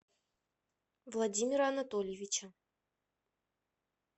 владимира анатольевича